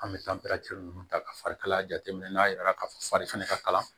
An bɛ taa ninnu ta ka fari kalaya jateminɛ n'a yira ka fɔ fari ka kalan